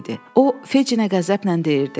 O Fecinə qəzəblə deyirdi: